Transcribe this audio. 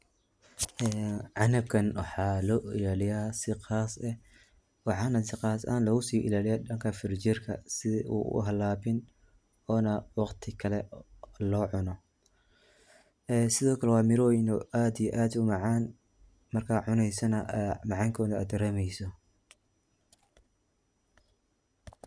Ee canabkan waxaa loo ilaaliya si qaas eh. Waxana si qas logusii ilaaliya dhanka firinjerka si u uhalaabin oona waqti kale lo cuna. Sida kale waa miroyin aad iyo aad u macaan markaa cuneysana ee macaankooda aad daremeyso.